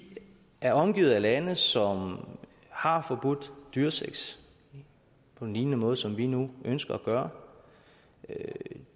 er omgivet af lande som har forbudt dyresex på en lignende måde som vi nu ønsker at gøre